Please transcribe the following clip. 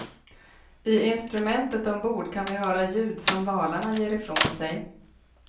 I instrument ombord kan vi höra ljud som valarna ger ifrån sig.